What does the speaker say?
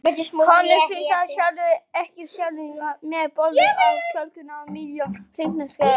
Honum finnst hann sjálfur ekkert ásjálegur með bólur á kjálkunum og milljón fílapensla á nefinu.